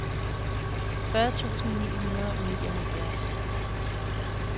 fyrre tusind ni hundrede og nioghalvfjerds